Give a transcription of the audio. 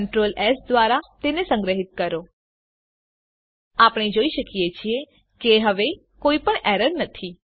Ctrl S દ્વારા તેને સંગ્રહીત કરો આપણે જોઈએ છીએ કે હવે કોઈપણ એરર નથી